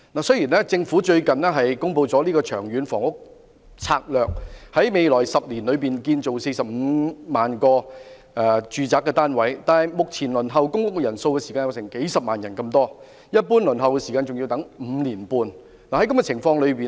雖然政府近日公布了《長遠房屋策略》，提出會在未來10年興建45萬個住宅單位，但目前輪候公屋人數有數十萬人，一般輪候時間更要5年半。